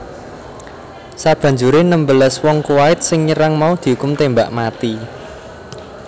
Sabanjuré enem belas wong Kuwait sing nyerang mau diukum tembak mati